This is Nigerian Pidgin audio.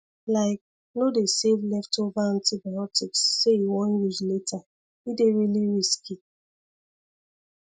like no dey save leftover antibiotics say you wan use later e dey really risky